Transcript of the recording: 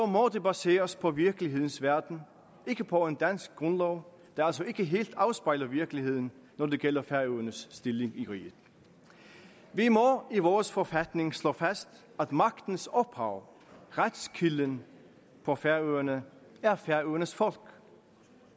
må det baseres på virkelighedens verden og ikke på en dansk grundlov der altså ikke helt afspejler virkeligheden når det gælder færøernes stilling i riget vi må i vores forfatning slå fast at magtens ophav retskilden på færøerne er færøernes folk